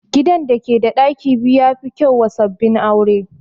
Gidan da ke da ɗaki biyu ya fi kyau wa sabbin aure